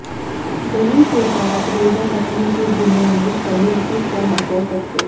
دہی کے ساتھ روزہ رکھنے کے دنوں میں تنوع کس طرح کر سکتے ہیں